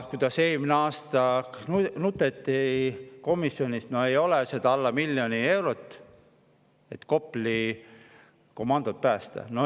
Kuidas eelmine aasta nuteti komisjonis, et ei ole seda alla miljoni euro, et Kopli komandot päästa!